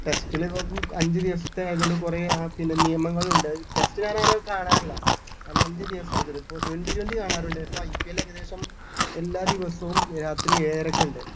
test ല് ഇപ്പൊ അഞ്ച് ദിവസത്തെ ആയത്കൊണ്ട് കുറേ ആ പിന്നെ നിയമങ്ങൾ ഉണ്ട് ടെസ്റ്റ് ഞാൻ അങ്ങനെ കാണാറില്ല കാരണം അഞ്ച് ദിവസത്തെ ആയത് കൊണ്ട് ഇപ്പൊ twenty-twenty കാണാറുണ്ട് ഇപ്പൊ IPL ഏകദേശം എല്ലാ ദിവസവും രാത്രി ഏഴരയ്ക്ക് ഒണ്ട്